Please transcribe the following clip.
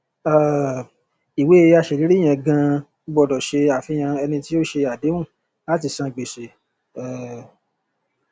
um ìwé aṣèlérí yẹn ganan gbọdọ ṣe àfihàn ẹni tí ó ṣe àdéhùn láti san gbèsè um